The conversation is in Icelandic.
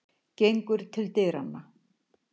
Gengur til dyranna.